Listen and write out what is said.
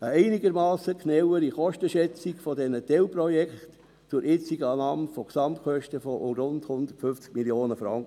eine einigermassen genauere Kostenschätzung dieser Teilprojekte zur jetzigen Annahme von Gesamtkosten von rund 150 Mio. Franken;